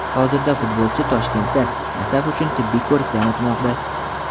Hozirda futbolchi Toshkentda "Nasaf" uchun tibbiy ko‘rikdan o‘tmoqda.